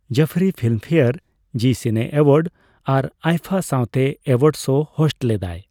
Jafri Filmfare, Zee cine awards ᱟᱨ ᱟᱭᱯᱷᱟ ᱥᱟᱣᱛᱮ award show host ᱞᱮᱫᱟᱭ ᱾